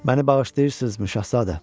Məni bağışlayırsızmı, şahzadə?